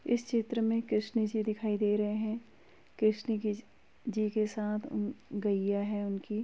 इस चित्र में कृष्ण जी दिखाई दे रहे हैं। कृष्ण के जी के साथ गइया है उनकी।